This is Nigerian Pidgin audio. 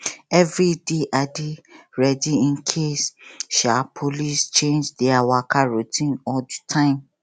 every day i dey ready in case um police change their waka route or time